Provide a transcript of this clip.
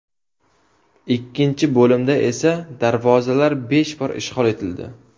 Ikkinchi bo‘limda esa darvozalar besh bor ishg‘ol etildi.